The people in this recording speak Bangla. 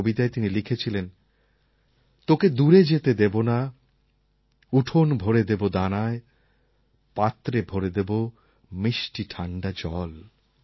নিজের কবিতায় তিনি লিখেছিলেন তোকে দূরে যেতে দেবো না উঠোন ভরে দেবো দানায় পাত্রে ভরে দেবো মিষ্টি ঠাণ্ডা জল